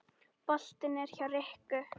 Boltinn er hjá ríkinu.